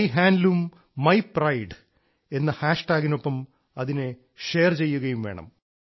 my handloom my pride എന്ന ഹാഷ്ടാഗിനൊപ്പം അതിനെ ഷെയർ ചെയ്യുകയും വേണം